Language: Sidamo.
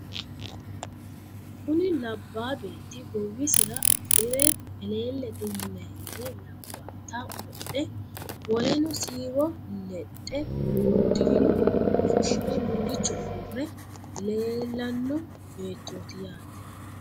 kuni labaa betti goowisira afire eleelete yinayire labbaata wodhe woleno siiwo ledhe udirino uduune fushire mulichu uurre leellanno beettoti yaate.